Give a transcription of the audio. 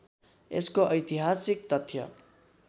यसको ऐतिहासिक तथ्य